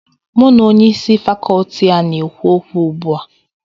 M na Onye isi Fakọọti a na-ekwu okwu ugbu a